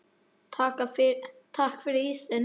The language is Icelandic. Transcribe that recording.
Takk fyrir ísinn.